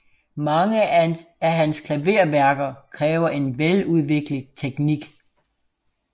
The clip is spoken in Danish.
Mange af hans klaverværker kræver en veludviklet teknik